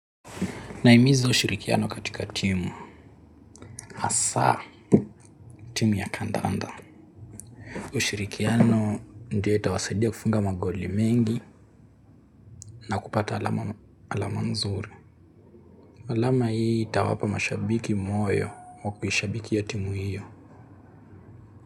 Na imizo ushirikiano katika timu. Asa, timu ya kandanda. Ushirikiano ndio itawasaidia kufunga magoli mengi na kupata alama mzuri. Alama hii itawapa mashabiki moyo wa kuhishabiki ya timu hiyo.